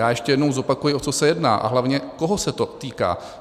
Já ještě jednou zopakuji, o co se jedná a hlavně koho se to týká.